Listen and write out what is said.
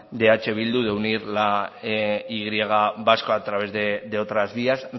de eh bildu de unir la y vasca a través de otras vías